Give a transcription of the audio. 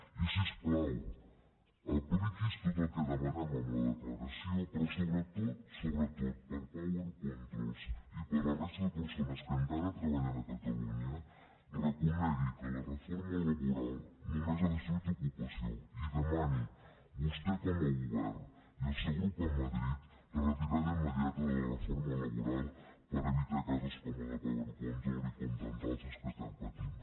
i si us plau apliqui’s tot el que demanem en la declaració però sobretot sobretot per a power controls i per a la resta de persones que encara treballen a catalunya reconegui que la reforma laboral només ha destruït ocupació i demani vostè com a govern i el seu grup a madrid la retirada immediata de la reforma laboral per evitar casos com el de power controls i com tants altres que estem patint